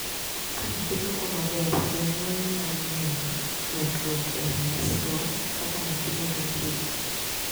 Ka nyathi dongo maber, jonyuol nyalo neno medruok e ranyisigo kaka nyathi medo hike.